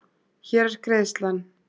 Hér er greiðslan.